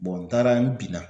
n taara n binna